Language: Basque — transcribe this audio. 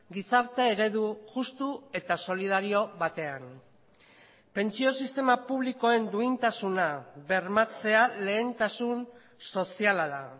gizarte eredu justu eta solidario batean pentsio sistema publikoen duintasuna bermatzea lehentasun soziala da